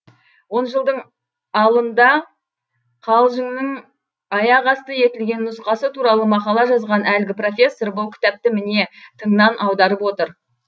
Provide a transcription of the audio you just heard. он жылдың алында қалжыңның аяқасты етілген нұсқасы туралы мақала жазған әлгі профессор бұл кітапты міне тыңнан аударып отыр